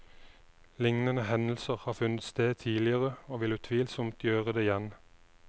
Lignende hendelser har funnet sted tidligere og vil utvilsomt gjøre det igjen.